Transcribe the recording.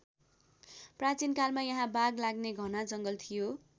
प्राचीनकालमा यहाँ बाघ लाग्ने घना जङ्गल थियो।